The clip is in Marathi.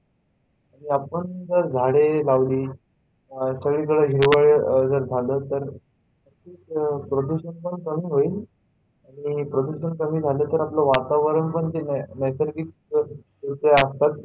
आणि आपण जर झाडे लावली तर सगळीकडे हिरव जर झालं तर प्रदूषण पण कमी होईल आणि प्रदूषण कमी झालं तर आपलं वातावरण नैसर्गिकरित्या